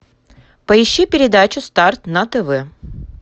поищи передачу старт на тв